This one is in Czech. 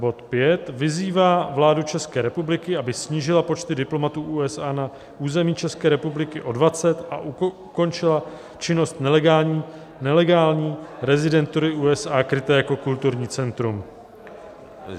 Bod V: "Vyzývá vládu České republiky, aby snížila počty diplomatů USA na území České republiky o 20 a ukončila činnost nelegální rezidentury USA kryté jako kulturní centrum."